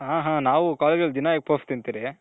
ಹಾ ಹಾ ನಾವು college ಅಲ್ಲಿ ದಿನ egg puff ತಿನ್ತಿರಿ.